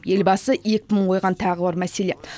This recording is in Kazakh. елбасы екпінін қойған тағы бір мәселе